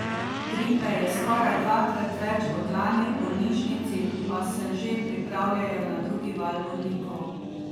Gripe je skoraj dvakrat več kot lani, v bolnišnici pa se že pripravljajo na drugi val bolnikov.